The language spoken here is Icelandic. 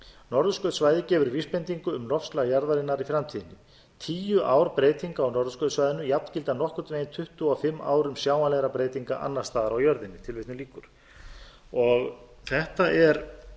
norðurskautssvæðið gefur vísbendingu um loftslag jarðarinnar í framtíðinni tíu ár breytinga á norðurskautssvæðinu jafngilda nokkurn veginn tuttugu og fimm árum sjáanlegra breytinga annars staðar á jörðinni þetta er